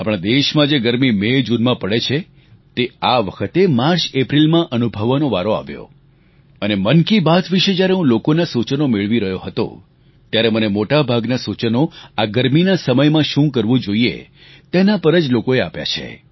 આપણા દેશમાં જે ગરમી મેજૂનમાં પડે છે તે આ વખતે માર્ચએપ્રિલમાં અનુભવવાનો વારો આવ્યો અને મન કી બાત વિષે જ્યારે હું લોકોનાં સૂચનો મેળવી રહ્યો હતો ત્યારે મને મોટાભાગનાં સૂચનો આ ગરમીના સમયમાં શું કરવું જોઈએ તેના પર જ લોકોએ આપ્યાં છે